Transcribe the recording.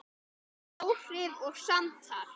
Áhrif og samtal